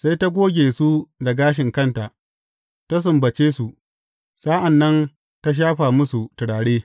Sai ta goge su da gashin kanta, ta sumbace su, sa’an nan ta shafa musu turare.